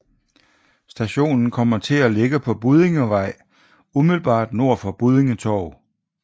Stationen kommer til at ligge på Buddingevej umiddelbart nord for Buddinge Torv